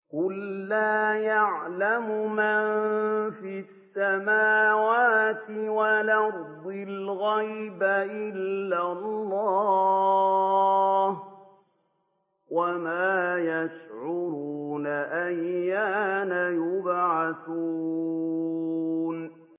قُل لَّا يَعْلَمُ مَن فِي السَّمَاوَاتِ وَالْأَرْضِ الْغَيْبَ إِلَّا اللَّهُ ۚ وَمَا يَشْعُرُونَ أَيَّانَ يُبْعَثُونَ